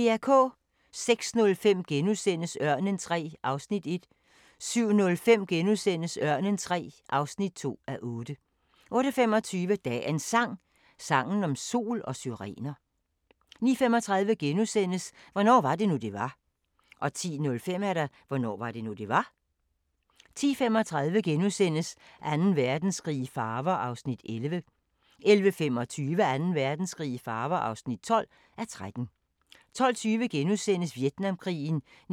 06:05: Ørnen III (1:8)* 07:05: Ørnen III (2:8)* 08:25: Dagens Sang: Sangen om sol og syrener 09:35: Hvornår var det nu det var * 10:05: Hvornår var det nu, det var? 10:35: Anden Verdenskrig i farver (11:13)* 11:25: Anden Verdenskrig i farver (12:13) 12:20: Vietnamkrigen 1966-1967